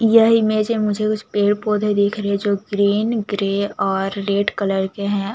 यह इमेज में मुझे उस पेड़-पौधे दिख रहे है जो ग्रीन ग्रे और रेड कलर के है।